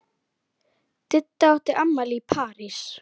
Didda átti afmæli í París.